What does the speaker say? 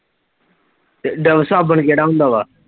ਤੇ ਡਵ ਸਾਬਣ ਕੇਹੜਾ ਹੁੰਦਾ ਵਾ